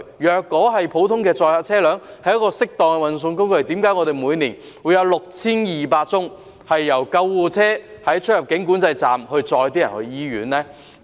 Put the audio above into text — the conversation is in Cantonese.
如果普通載客車輛是適當的運送工具，為何我們每年有6200宗由救護車在出入境管制站運載病人到醫院的個案呢？